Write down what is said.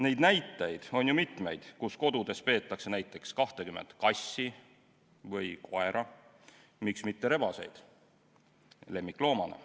Neid näiteid on ju palju, kus kodudes peetakse näiteks 20 kassi või koera, miks siis mitte ka rebaseid lemmikloomana.